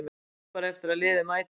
Bíð bara eftir að liðið mæti.